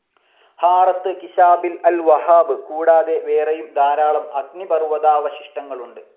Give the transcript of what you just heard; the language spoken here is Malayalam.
ഹാറത്ത് കിഷാബിൽ അൽ വഹാബ് കൂടാതെ വേറെയും ധാരാളം അഗ്നിപർവ്വതാവശിഷ്ടങ്ങളുണ്ട്.